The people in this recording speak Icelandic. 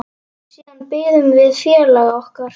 Siðan biðum við félaga okkar.